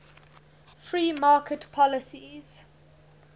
free market policies